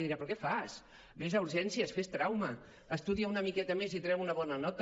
li dirà però què fas ves a urgències fes trauma estudia una miqueta més i treu una bona nota